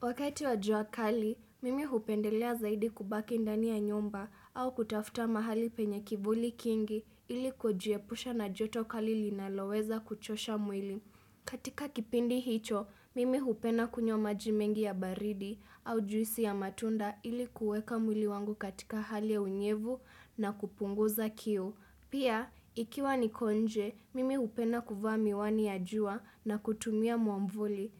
Wakati wajua kali, mimi hupendelea zaidi kubaki ndani ya nyumba au kutafta mahali penye kivuli kingi ili kujiepusha na joto kali linaloweza kuchosha mwili. Katika kipindi hicho, mimi hupena kunywa maji mengi ya baridi au juisi ya matunda ili kueka mwili wangu katika hali ya unyevu na kupunguza kiu. Pia, ikiwa niko nje, mimi upena kuvaa miwani ya jua na kutumia mwamvuli.